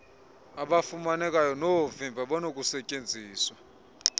abafumanekayo noovimba abanokustyenziswa